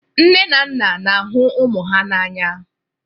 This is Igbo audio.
Nne na nna na-ahụ ụmụ ha n'anya